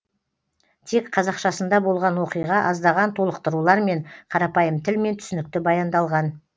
тек қазақшасында болған оқиға аздаған толықтырулармен қарапайым тілмен түсінікті баяндалған